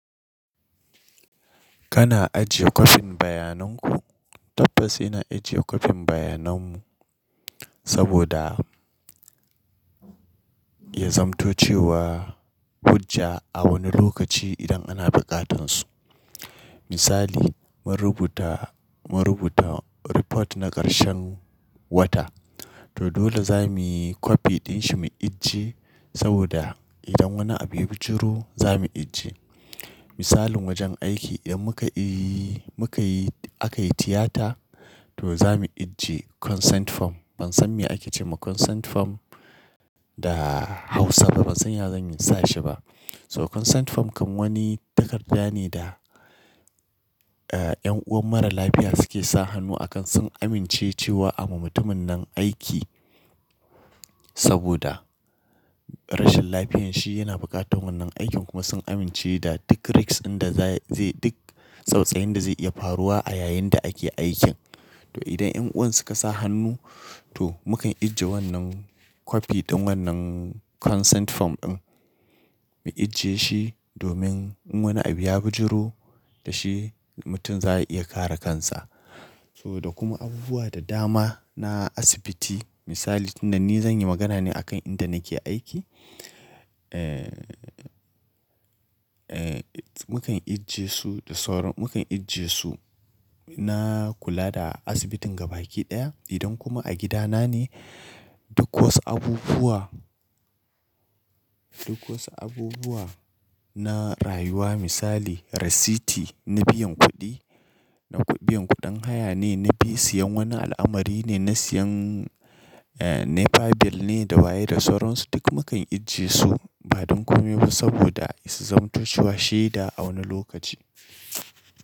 Kana ajiye kwafin bayanan ku? Tabbas ina ajiye kwafin bayanan mu saboda ya zamto cewa, hujja a wani lokaci idan ana buƙatansu. Misali, mun rubuta, mun rubuta report na ƙarshen wata, to dole za muyi copy ɗin shi mu ijiye, saboda idan wani abu ya bijiro za mu ijiye Misalin wajen aiki, idan muka yi, muka yi, aka yi tiyata, to za mu ijiye consent form. Ban san me ake ce ma consent form da Hausa ba, ban san ya zan sa shi ba, So consent form kam wani takarda ne da, eh, ƴan'uwan mara lafiya suke sa hannu a kan sun amince cewa a ma mutumin nan aiki, saboda, rashin lafiyanshi yana buƙatar wannan aikin kuma sun amince da duk risks ɗin da zai, zai duk tsautsayin da zai iya faruwa a yayin da ake aikin, to idan ƴan'uwan suka sa hannu, to mu kan ijiye wannan copy ɗin wannan consent form ɗin. Mu ijiye shi domin in wani abu ya bijiro, da shi mutum za'a iya kare kansa, to da kuma abubuwa da dama na asibiti, misali, tun da ni zan yi magana ne akan inda nake aiki, eh, eh, mu kan ijiye su da sauran, mu kan ijiye su na kula da asibitin gabaki ɗaya, idan kuma a gidana ne, duk wasu abubuwa, duk wasu abubuwa, na rayuwa misali rasiti, na biyan kuɗi, na biyan kuɗin haya ne, na bi siyan wani al'amari ne, na siyan, eh, nepa bill ne da waye da sauran su, duk mu kan ijiye su, ba don komai ba saboda su zamto cewa shaida a wani lokaci.